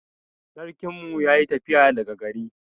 Sarkin mu yayi tafiya daga gari.